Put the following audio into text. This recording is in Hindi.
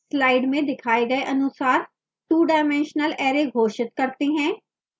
slide में दिखाए गए अनुसार two dimensional array घोषित करते हैं